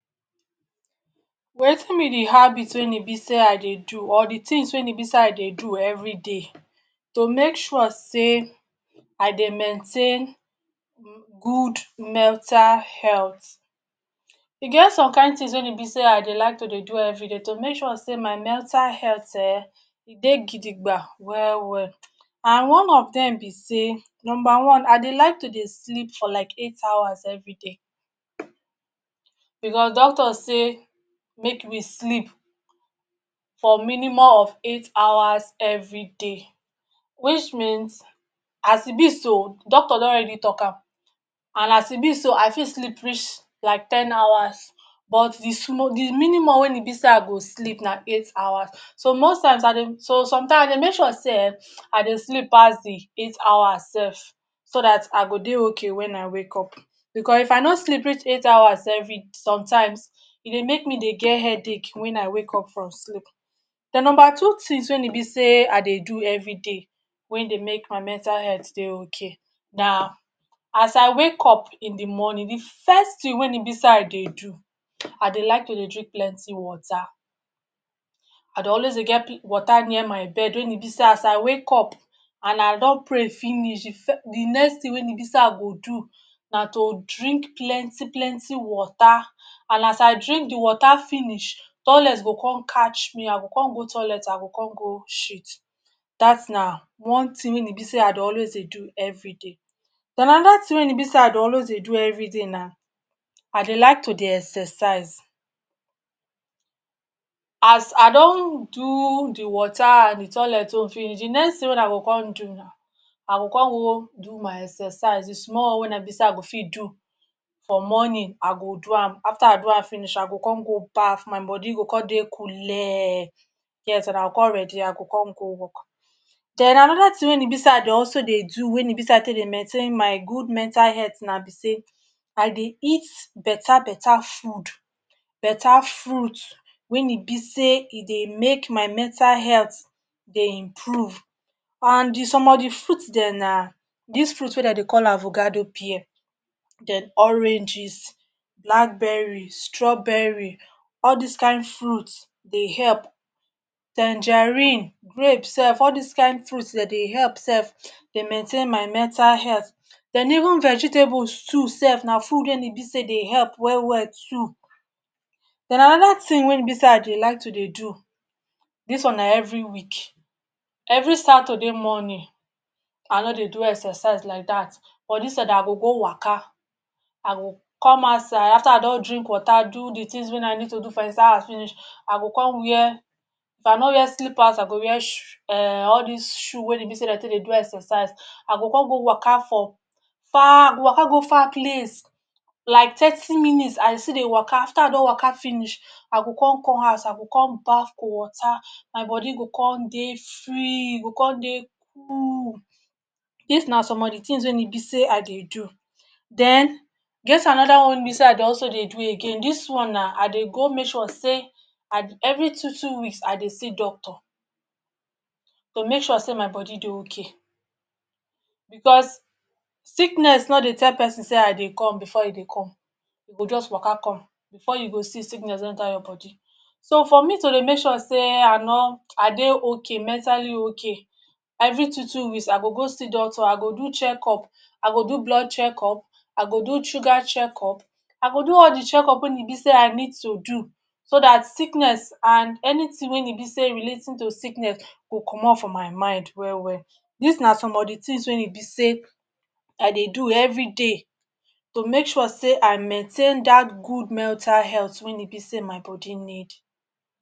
Watin be di habit wey e be sey I dey do or di tins wey w be sey I dey do everyday to make sure sey I dey maintain good mental health. E get some kain tins wey e be sey I dey like to dey do everyday to make sure sey my mental health[um]e dey gidigba well well and one of dem be sey number one I dey like to dey sleep for like eight hours everyday because doctors say make we sleep for minimum of eight hours everyday which means as e be so doctor don already talk am and as e be so I fit sleep reach like ten hours but di small di minimum wey e be sey I go sleep na eight hours. So most times I dey, so sometimes I dey make sure sey[um]I dey sleep pass di eight hours self so dat I go dey okay wen I wake up because if I no sleep reach eight hours sometimes e dey make me dey get headache wen I wake up from sleep. Den number two tins wey e be sey I dey do everyday wey dey make my mental health dey okay na as I wake up in di morning di first tin wey e be sey I dey do, I dey like to dey drink plenty water, I dey always dey get water near my bed wey e be sey as I wake up and I don pray finish di fir di next tin wey e be sey I go do na to drink plenty plenty water and as I drink di water finish, toilet go come catch me I go come go toilet I go come go shit dat na one tin wey e be sey I dey always dey do everyday. Den anoda tin wey e be sey I dey always dey do everyday na I dey like to dey exercise, as I don do di water and di toilet own finish, di next tin wey I go come do, I go come go do my exercise di small one wey e be sey I go fit do for morning I go do am. After I do am finish, I go come go baff my body go come dey coolee, yes I go come ready I go come go work. Den anoda tin wey e be sey I dey do wey e be sey I dey take dey maintain my good mental health na be sey I dey eat beta beta food, beta fruit wey e be sey e dey make my mental health dey improve and di some of di fruit dem na dis fruit wey dem dey call avocado pear, oranges, blackberry, strawberry, all dis kain fruit dey help, tangerine, grape self all dis kain fruit dem dey help self dey maintain my mental health den even vegetables too self na food wey e be sey dey help well well too. Den anoda tin wey e be sey I dey like to dey do, dis one na every week, every Saturday morning I no dey do exercise like dat, but instead I go go waka, I go come outside after I don drink water do di tins wey I need to do for inside house finish igo come wear, if I no wear slippers I go wear sho um all dis shoe wey be sey dem take dey do exercise, I go come go waka for, waka go far place like tirty minutes I go still dey waka, after I don waka finish, I go come come house, I go come baff cold water my body go come dey free, e go come dey cool. Dis na some of di tins wey e be sey I dey do, den e get anoda one wey e be sey I dey do again, dis one na I dey go make sure sey every two two weeks I dey see doctor to make sure say my body dey okay because sickness no dey tell pesin sey I dey come before e come, e go just waka come, before you go see, sickness don enter your body. So for me to dey make sure sey I no, I dey okay, mentally okay na every two two weeks I go go see doctor, I go do checkup, I go do blood checkup, I go do sugar checkup, I go do all di checkup wey e be sey I need to do so dat sickness and anytin wey e be sey relating to sickness go commot for my mind well well. Dis na some of di tins wey e be sey I dey do every day to make sure sey I maintain dat good mental health wey e be sey my body need.